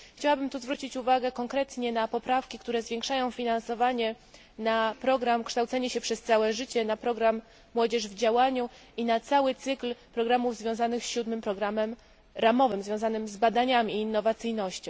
Chciałabym zwrócić tu uwagę konkretnie na poprawki, które zwiększają finansowanie programu kształcenia się przez całe życie, programu Młodzież w działaniu i całego cyklu programów związanych z siódmym programem ramowym dotyczącym badań i innowacyjności.